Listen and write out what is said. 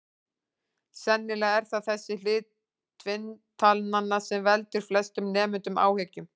Sennilega er það þessi hlið tvinntalnanna sem veldur flestum nemendum áhyggjum.